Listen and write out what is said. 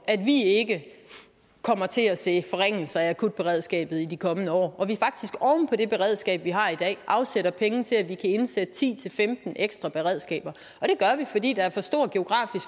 at vi ikke kommer til at se forringelser af akutberedskabet i de kommende år og det beredskab vi har i dag afsætter penge til at vi kan indsætte ti til femten ekstra beredskaber og det gør vi fordi der er